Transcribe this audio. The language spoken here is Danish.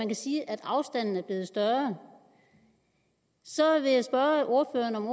kan sige at afstanden er blevet større så vil jeg spørge ordføreren om